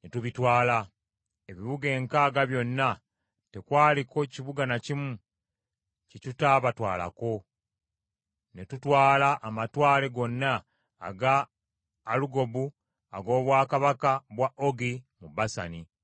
ne tubitwala. Ebibuga enkaaga byonna tekwaliko kibuga na kimu kye tutaabatwalako, ne tutwala amatwale gonna aga Alugobu ag’obwakabaka bwa Ogi mu Basani.